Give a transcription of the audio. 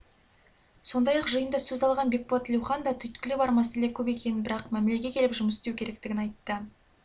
сондай-ақ жиында сөз алған бекболат тілеухан да түйткілі бар мәселе көп екенін бірақ мәмілеге келіп жұмыс істеу керектігін айтты